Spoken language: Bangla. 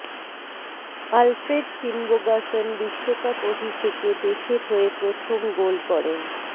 আলফ্রেড ফিনবোগাসন বিশ্বকাপ অভিষেকে দেশের হয়ে প্রথম গোল করেন